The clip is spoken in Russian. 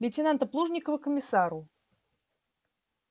лейтенанта плужникова к комиссару